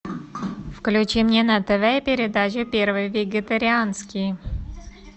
включи мне на тв передачу первый вегетарианский